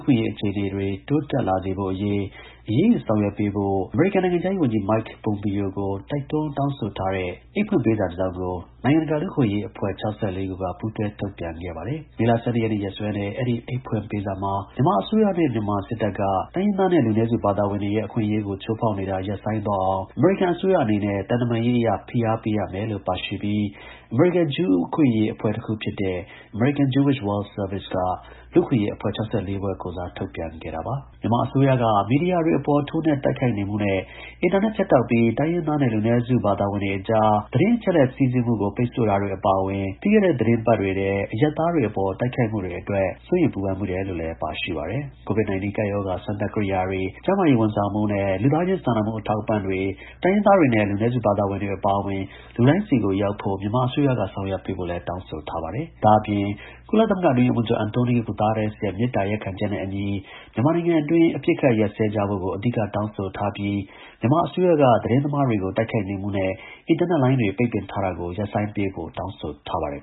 ခွင့်အရေး အခြေအနေတွေတိုးတက်လာစေဖို့အရေး အရေးယူ ဆောင်ရွက်ပေးဖို့ အမေရိကန် နိုင်ငံခြားရေး ဝန်ကြီး Mike Pompeo ကို တိုက်တွန်းတောင်းဆိုထားတဲ့ အိတ်ဖွင့်ပေးစာတစ်စောင်ကို နိုင်ငံတကာ လူ့အခွင့်အရေး အဖွဲ့ ၆၄ခုကပူးတွဲ ထုတ်ပြန်ခဲ့ပါတယ်။ မေလ ၁၂ ရက်နေ့ရက်စွဲနဲ့ အဲဒီ ကြေညာချက်မှာ မြန်မာ နိုင်ငံအတွင်း မြန်မာ အစိုးရနဲ့ မြန်မာစစ်တပ်က တိုင်းရင်းသား နဲ့ လူနည်းစု ဘာသာဝင် တွေရဲ့ အခွင့်အရေးကို ချိုးဖောက်နေတာ ရပ်ဆိုင်းသွားအောင် အမေရိကန် အစိုးရအနေနဲ့ သံတမန်ရေးအရ ဖိအား ပေးရမယ်လို့ အမေရိကန် ဂျူးအခွင့်အရေးအဖွဲ့တစ်ခု ဖြစ်တဲ့ American Jewish World Service က လူ့အခွင့်အရေး အဖွဲ့ ၆၄ ဖွဲ့ ကိုယ်စားထုတ်ပြန်တဲ့ကြေညာချက်မှာတောင်းဆိုထားပါတယ်။ မြန်မာအစိုးရက မီဒီယာတွေအပေါ်ထိုးနှက်တိုက်ခိုက်နေမှုနဲ့ အင်တာနက် ဖြတ်တောက်ပြီး တိုင်းရင်းသားနဲ့ လူနည်းစု ဘာသာဝင်တွေအကြား သတင်းအချက်အလက် စီးဆင်းမှုကို ပိတ်ဆို့ တာတွေ အပါအဝင် ပြီးခဲ့တဲ့ သီတင်းပတ်တွေထဲ အရပ်သားတွေအပေါ် တိုက်ခိုက်မှုတွေ အတွက် စိုးရိမ် ပူပန်မိတယ်လို့လည်း ကြေညာချက်မှာ ပါရှိပါတယ်။ COVID-19 ကပ်ရောဂါ စမ်းသပ် ကိရိယာတွေ၊ ကျန်းမာရေး ဝန်ဆောင်မှုနဲ့ လူသားချင်း စာနာမှု အထောက်အပံ့တွေ တိုင်းရင်းသားတွေနဲ့ လူနည်းစု ဘာသာဝင်တွေအပါအဝင် လူတိုင်းဆီကို ရောက်ဖို့ မြန်မာအစိုးရက ဆောင်ရွက်ပေးဖို့လည်း တောင်းဆိုထားပါတယ်။ လူ့အခွင့်အရေးအဖွဲ့ ၆၄ ဖွဲ့ရဲ့ အိတ်ဖွင့်စာထဲမှာတော့ ကုလသမဂ္ဂအတွင်းရေးမှူးချုပ် Antonio Guterres ရဲ့ မေတ္တာရပ်ခံချက်နဲ့အညီ မြန်မာနိုင်ငံအတွင်း အပစ်အခတ်ရပ်စဲကြဖို့ကို အဓိက တောင်းဆိုထားသလို မြန်မာအစိုးရကသတင်းသမားတွေကို တိုက်ခိုက်နေမှုနဲ့ အင်တာနက်လိုင်းတွေ ပိတ်ပင်ထားတာကို ရပ်ဆိုင်းပေးဖို့ တောင်းဆိုထားပါတယ်